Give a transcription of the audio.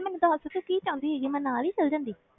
ਮੈਨੂੰ ਦੱਸ ਤੂੰ ਕੀ ਚਾਹੀਦੀ ਹੈਗੀ ਆਂ ਮੈਂ ਨਾਲ ਹੀ ਚਲੀ ਜਾਂਦੀ।